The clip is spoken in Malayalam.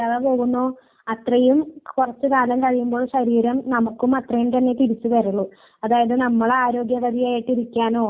അത് ചിലര് ജാതിപരമായിട്ട് കൊണ്ടുപോകുന്നവരുമുണ്ട് ചിലര് ആരോഗ്യപരമായിട്ട് കൊണ്ടുപോകുന്നവരും ഉണ്ട്